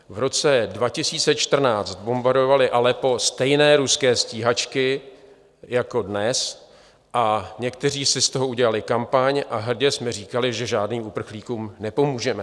V roce 2014 bombardovali Aleppo stejné ruské stíhačky jako dnes a někteří si z toho udělali kampaň a hrdě jsme říkali, že žádným uprchlíkům nepomůžeme.